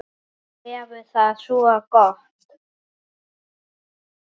Hann hefur það svo gott.